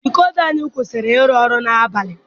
Dikoda anyị kwụsịrị iru ọrụ n'abalị.